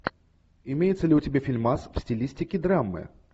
имеется ли у тебя фильмас в стилистике драмы